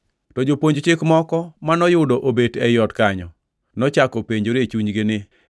To jopuonj Chik moko manoyudo obet ei ot kanyo nochako penjore e chunygi ni,